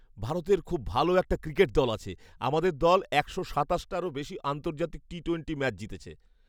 ভারতের খুব ভালো একটা ক্রিকেট দল আছে। আমাদের দল একশো সাতাশটারও বেশি আন্তর্জাতিক টি টোয়েন্টি ম্যাচ জিতেছে।